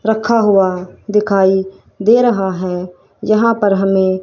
रखा हुआ दिखाइए दे रहा है यहां पर हमें।